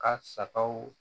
Ka sagaw